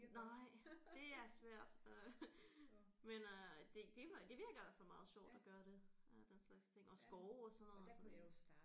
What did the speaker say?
Nej det er svært øh men øh det det var det virker i hvert fald meget sjovt at gøre det øh den slags ting og skove og sådan noget så det